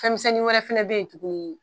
Fɛnmisɛnnin wɛrɛ fana bɛ yen tuguni